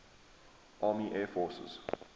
army air forces